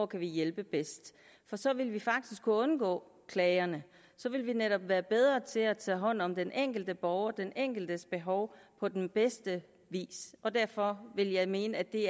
kan hjælpe bedst for så ville vi faktisk kunne undgå klagerne så ville vi netop være bedre til at tage hånd om den enkelte borger og den enkeltes behov på den bedste vis og derfor vil jeg mene at det